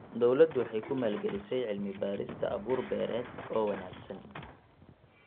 Dawladdu waxay ku maalgelisay cilmi-baadhista abuur-beereed oo wanaagsan.